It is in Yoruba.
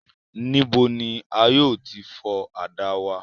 Nibo ni a yóò ti fọ àdá wa?